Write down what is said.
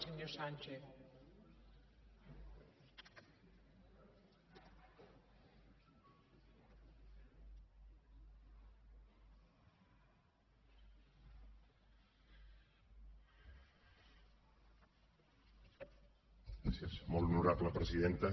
gràcies molt honorable presidenta